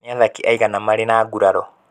Nĩ athaki aigana marĩ na nguraro?